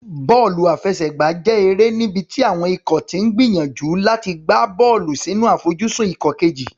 Bọ́ọ̀lù àfẹsẹ̀gbá jẹ́ eré níbi tí àwọn ikọ̀ ti ń gbìyànjú láti gbá bọ́ọ̀lù sínú àfojúsùn ikọ̀ kejì.